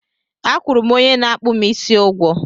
A kwụrụ m onye na-akpụ m isi ụgwọ